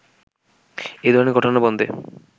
এ ধরণের ঘটনা বন্ধে